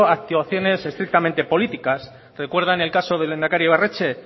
actuaciones estrictamente políticas recuerdan el caso del lehendakari ibarretxe